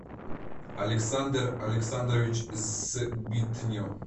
александр александрович сбитнев